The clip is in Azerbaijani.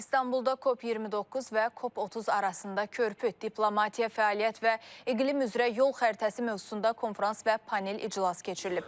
İstanbulda COP 29 və COP 30 arasında körpü, diplomatiya, fəaliyyət və iqlim üzrə yol xəritəsi mövzusunda konfrans və panel iclası keçirilib.